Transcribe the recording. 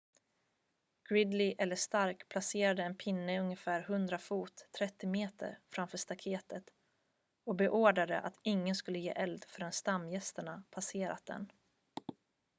gridley eller stark placerade en pinne ungefär 100 fot 30 m framför staketet och beordrade att ingen skulle ge eld förrän stamgärsterna passerat den